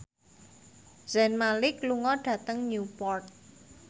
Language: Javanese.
Zayn Malik lunga dhateng Newport